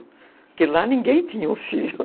Porque lá ninguém tinha um filho.